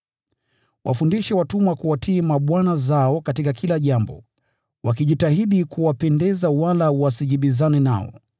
Wafundishe watumwa kuwatii mabwana zao katika kila jambo, wakijitahidi kuwapendeza wala wasijibizane nao,